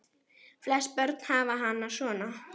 Flest börn hafa hana svona